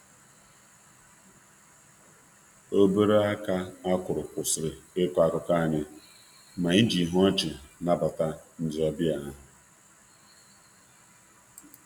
Obere aka akụrụ kwụsịrị ịkọ akụkọ anyị, ma anyị ji ihu ọchị nabata ndị ọbịa ahụ.